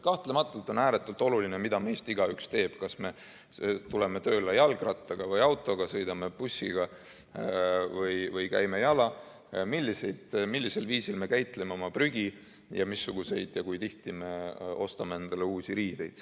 Kahtlematult on ääretult oluline, mida meist igaüks teeb – kas me tuleme tööle jalgrattaga või autoga, sõidame bussiga või käime jala, millisel viisil me käitleme oma prügi ning missuguseid riideid ja kui tihti me endale ostame.